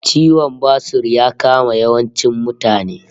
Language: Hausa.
Ciwon basur ya kama yawancin mutane